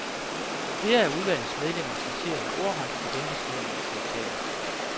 Flere af udvalgets medlemmer citerede ordret fra embedsmændenes notater.